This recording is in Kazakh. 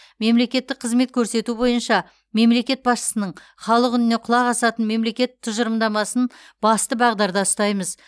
мемлекеттік қызмет көрсету бойынша мемлекет басшысының халық үніне құлақ асатын мемлекет тұжырымдамасын басты бағдарда ұстаймыз